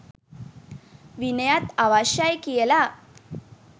විනයත් අවශ්‍ය යි කියලා